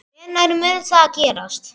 Hvenær mun það gerast?